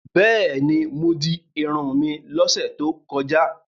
Bẹ́ẹ̀ni, mo di irun mi lọ́sẹ̀ tó kọjá.